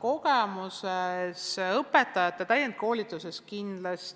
Kogemus õpetajate täienduskoolituse osas